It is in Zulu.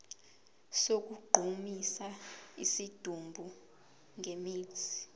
sokugqumisa isidumbu ngemithi